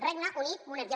regne unit monarquia